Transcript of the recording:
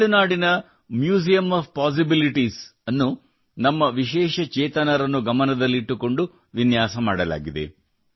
ತಮಿಳುನಾಡಿನ museum of possibilities ಅನ್ನು ನಮ್ಮ ವಿಶೇಷ ಚೇತನರನ್ನು ಗಮನದಲ್ಲಿಟ್ಟುಕೊಂಡು ವಿನ್ಯಾಸ ಮಾಡಲಾಗಿದೆ